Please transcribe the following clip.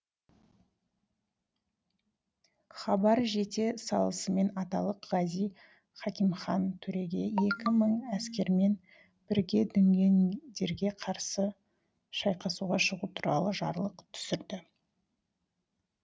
хабар жете салысымен аталық ғази хакимхан төреге екі мың әскермен бірге дүнгендерге қарсы шайқасуға шығу туралы жарлық түсірді